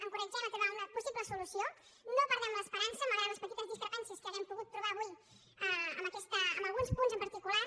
encoratgem a trobar una possible solució no perdem l’esperança malgrat les petites discrepàncies que hàgim pogut trobar avui en alguns punts en particular